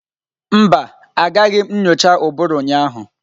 Mba, Agaghị m nyocha ụbụrụ ụnyaahụ.